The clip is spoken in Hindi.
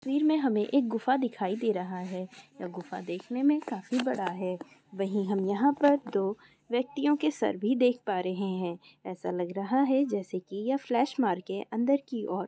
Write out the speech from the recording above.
तस्वीर मे हमे एक गुफा दिखाई दे रहा है यह गुफा देखने मे काफी बड़ा है वही हम यहा पर दो व्यक्तिओ के सर भी देख पा रहे है ऐसा लग रहा है जैसा की ये फ्लैश मारके अंदर की और --